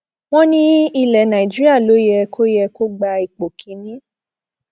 wọn ní ilẹ nàíjíríà ló yẹ kó yẹ kó gba ipò kìnínní